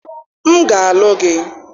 m ga-alụ gị